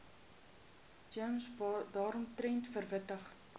gems daaromtrent verwittig